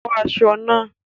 Bọ́ aṣọ náà!